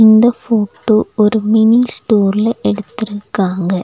இந்த ஃபோட்டோ ஒரு மினி ஸ்டோர்ல எடுத்துருக்காங்க.